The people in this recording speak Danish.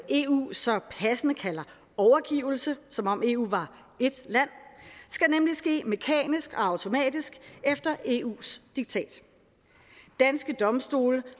eu så passende kalder overgivelse som om eu var ét land skal nemlig ske mekanisk og automatisk efter eus diktat danske domstole